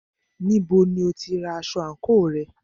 Níbo ni o tí ra aṣọ àńkò rẹ?